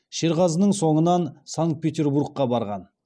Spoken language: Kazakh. шерғазының соңынан санкт петербургқа барған